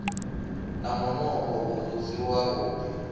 na munukho u si wavhuḓi